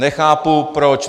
Nechápu proč.